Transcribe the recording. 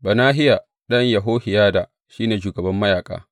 Benahiya ɗan Yehohiyada, shi ne shugaban mayaƙa.